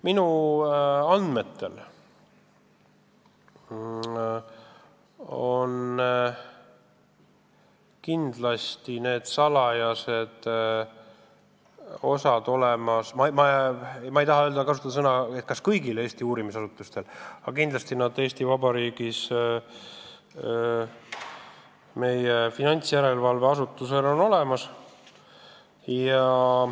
Minu andmetel on need salajased lisad olemas ma ei tea, kas kõigil – ma ei taha kasutada seda sõna – Eesti uurimisasutustel olemas, aga kindlasti on need Eesti Vabariigi finantsjärelevalve asutusel olemas.